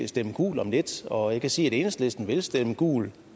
stemme gult om lidt og jeg kan også sige at enhedslisten vil stemme gult